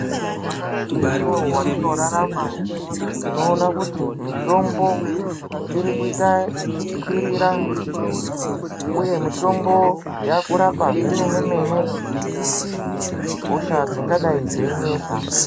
Nyamashi unouyu vatinorarama tinoona kuti mitombo iri kuita ichikwirira, uye mitombo yakurapa zvemene-mene hosha dzingadai dzeinesa.